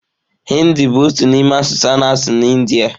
Hị́ndị bụ otu n'ime asụsụ a na-asụ na Ịndía.